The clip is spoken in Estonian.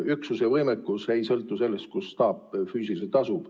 Üksuse võimekus ei sõltu sellest, kus staap füüsiliselt asub.